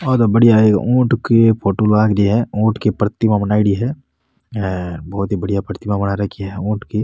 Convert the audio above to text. ओ तो बढ़िया है ऊट की फोटो लाग रही है ऊट की प्रतिमा बनायेड़ी है हेर बहोत ही बढ़िया प्रतिमा बना रखी है ऊँट की।